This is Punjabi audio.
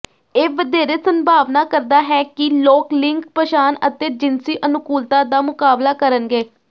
ਇਹ ਵਧੇਰੇ ਸੰਭਾਵਨਾ ਕਰਦਾ ਹੈ ਕਿ ਲੋਕ ਲਿੰਗ ਪਛਾਣ ਅਤੇ ਜਿਨਸੀ ਅਨੁਕੂਲਤਾ ਦਾ ਮੁਕਾਬਲਾ ਕਰਨਗੇ